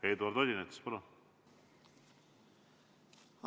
Eduard Odinets, palun!